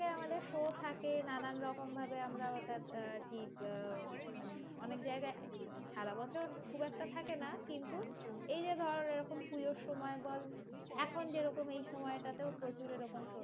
আমাদের show থাকে, নানান রকম ভাবে আমরা ওটা অনেক জায়গায় সারা বছর খুব একটা থাকে না কিন্তু, এই যে ধর এরকম পুজোর সময় বল, এখন যেরকম এই সময় টাতেও প্রচুর এরকম